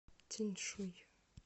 тяньшуй